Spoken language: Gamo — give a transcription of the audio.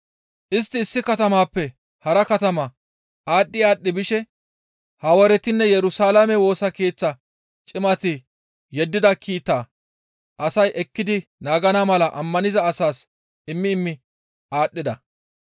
Istti issi katamappe hara katama aadhdhi aadhdhi bishe Hawaaretinne Yerusalaame Woosa Keeththa cimati yeddida kiitaa asay ekkidi naagana mala ammaniza asaas immi immi aadhdhida.